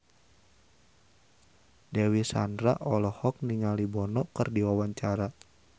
Dewi Sandra olohok ningali Bono keur diwawancara